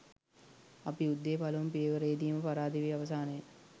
අප යුද්ධයේ පළමු පියවරේදීම පරාද වී අවසානය.